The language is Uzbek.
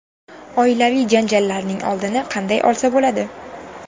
Oilaviy janjallarning oldini qanday olsa bo‘ladi?.